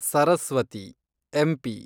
Saraswati , MP